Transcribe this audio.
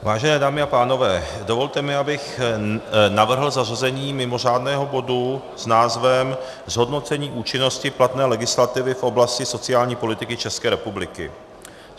Vážené dámy a pánové, dovolte mi, abych navrhl zařazení mimořádného bodu s názvem Zhodnocení účinnosti platné legislativy v oblasti sociální politiky České republiky.